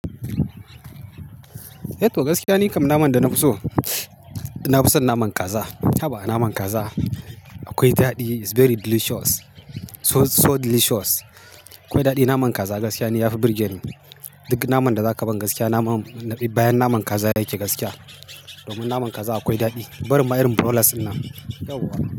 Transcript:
Eh to gaskiya nikam naman da na fi so, na fi son naman kaza. Haba a naman kaza akwai daɗi, is very delicious, so delicious akwai daɗi. Naman kaza gaskiya ne yafi burge ni. Duk naman da zaka ban gaskiya naman, bayan naman kaza yake gaskiya. Domin naman kaza akwai daɗi. Barin ma'irin broilers nan.